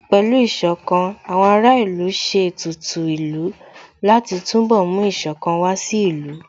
Pẹ̀lú Ìṣọ̀kan, àwọn ará ìlú ṣe ètùtù ìlú láti túnbọ̀ mú Ìṣọ̀kan wá sí ìlú